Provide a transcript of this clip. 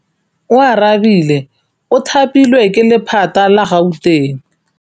Oarabile o thapilwe ke lephata la Gauteng.